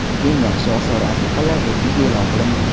Eng yaxshi osori atiqalar reytingi e’lon qilindi.